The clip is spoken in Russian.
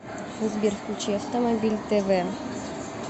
сбер включи автомобиль тэ вэ